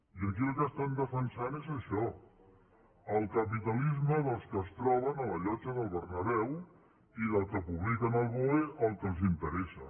i aquí el que estan defensat és això el capitalisme dels que es troben a la llotja del bernabéu i dels que publiquen al boe el que els interessa